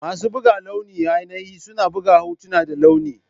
Masu buga launi ainihi suna buga hotuna da launi.